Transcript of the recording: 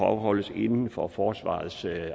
afholdes inden for forsvarets